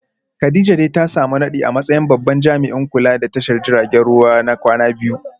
Kadijah dai ta samu nadi a matsayin babban jami’in kula da tashar jiragen ruwa na kwana biyu